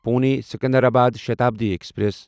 Pune Secunderabad Shatabdi express